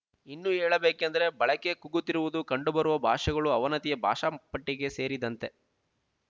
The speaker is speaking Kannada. ಇನ್ನು ಹೇಳಬೇಕೆಂದರೆ ಬಳಕೆ ಕುಗ್ಗುತ್ತಿರುವುದು ಕಂಡುಬರುವ ಭಾಷೆಗಳು ಅವನತಿಯ ಭಾಷಾ ಪಟ್ಟಿಗೆ ಸೇರಿದಂತೆ